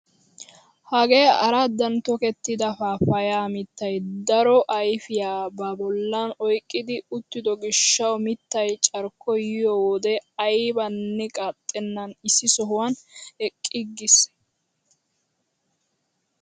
Hagee araddan tokettida paappayaa mittay daro ayfiyaa ba bollan oyqqidi uttido gishshawu mittay carkkoy yiyoo wode aybanne qaaxennan issi sohuwaan eqqiiges!